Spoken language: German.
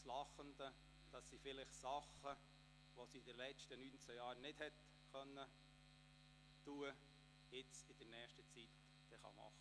Das lachende Auge ist, dass sie Dinge, die sie in den letzten 19 Jahren nicht tun konnte, in nächster Zeit vielleicht tun kann.